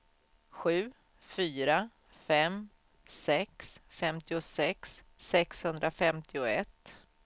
sju fyra fem sex femtiosex sexhundrafemtioett